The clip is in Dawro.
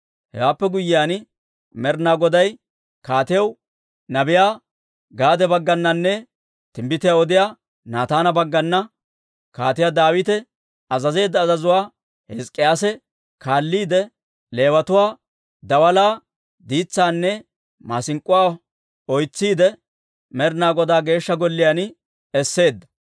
Hewaappe guyyiyaan, Med'inaa Goday kaatiyaw nabiyaa Gaade baggananne timbbitiyaa odiyaa Naataana baggana Kaatiyaa Daawita azazeedda azazuwaa Hizk'k'iyaase kaalliide, Leewatuwaa daalaa, diitsaanne maasink'k'uwaa oytsiidde, Med'inaa Godaa Geeshsha Golliyaan esseedda.